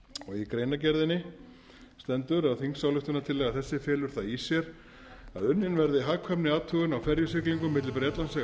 í greinargerðinni stendur að þingsályktunartillaga þessi felur það í sér að unnin verði hagkvæmniathugun á ferjusiglingum milli bretlandseyja og